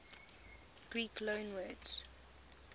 greek loanwords